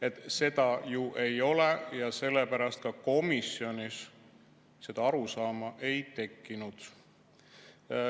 Aga seda ju ei ole ja sellepärast ka komisjonis seda arusaama ei tekkinud.